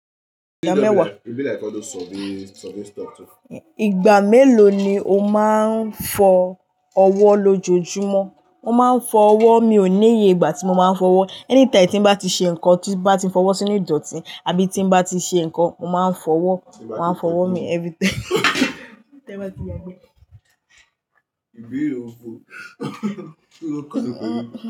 Ìgbà mẹ́wàá. Ìgbà mélòó ni o máa ń fọ ọwọ́ lójojúmọ́? Mo máa ń fọ ọwọ́, mi ò níye ìgbà tí mo máa ń fọwọ́. Anytime tí n bá ti ṣe nǹkan tí bá ti fọwọ́ sínú ìdọ̀tí, àbí tí n bá ti ṣe nǹkan, mo máa ń fọwọ́. Mo máa ń fọwọ́ mi every time.